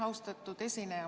Austatud esineja!